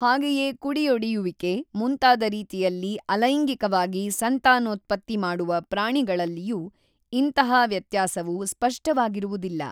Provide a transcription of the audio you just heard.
ಹಾಗೆಯೇ ಕುಡಿಯೊಡಿಯುವಿಕೆ ಮುಂತಾದ ರೀತಿಯಲ್ಲಿ ಅಲೈಂಗಿಕವಾಗಿ ಸಂತಾನೋತ್ಪತ್ತಿ ಮಾಡುವ ಪ್ರಾಣಿಗಳಲ್ಲಿಯೂ ಇಂತಹ ವ್ಯತ್ಯಾಸವು ಸ್ಫಷ್ಟವಾಗಿರುವುದಿಲ್ಲ.